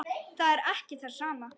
Það er ekki það sama.